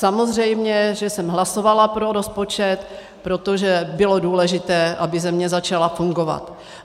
Samozřejmě, že jsem hlasovala pro rozpočet, protože bylo důležité, aby země začala fungovat.